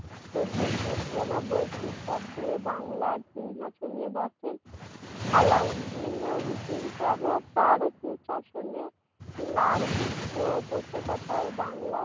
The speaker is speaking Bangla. চোদ্দোশো চুরানব্বই খ্রিস্টাব্দে বাংলার সিংহাসনে বসেন আলাউদ্দিন হোসেন শাহ তার সু শাসনে লার পৃষ্ঠপোষকতাই বাংলা